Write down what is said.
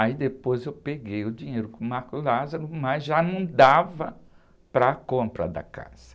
Aí depois eu peguei o dinheiro com o, mas já não dava para a compra da casa.